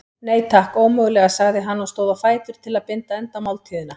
Nei, takk, ómögulega sagði hann og stóð á fætur til að binda enda á máltíðina.